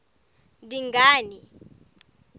dingane